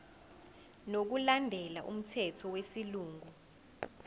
ngokulandela umthetho wesilungu